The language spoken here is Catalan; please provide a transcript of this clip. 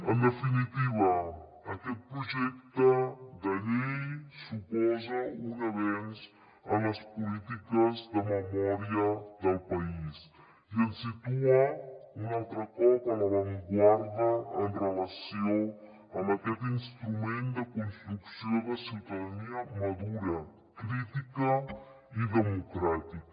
en definitiva aquest projecte de llei suposa un avenç en les polítiques de memòria del país i ens situa un altre cop a l’avantguarda en relació amb aquest instrument de construcció de ciutadania madura crítica i democràtica